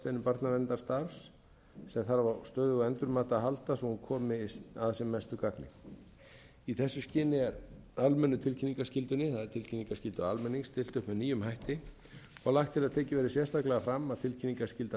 af hornsteinum barnaverndarstarfs sem þarf á stöðugu endurmati að halda svo hún komi að sem mestu gagni í þessu skyni er almennu tilkynningarskyldunni það er tilkynningarskyldu almennings stillt upp með nýjum hætti og lagt er til að tekið verði sérstaklega fram að tilkynningarskyldan